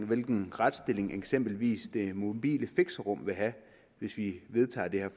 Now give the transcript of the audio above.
hvilken retsstilling eksempelvis det mobile fixerum vil have hvis vi vedtager det her